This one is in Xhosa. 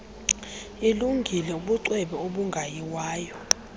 ilungile ubucwebe obungayiwayo